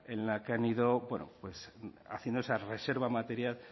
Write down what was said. en la que han ido bueno pues haciendo esa reserva material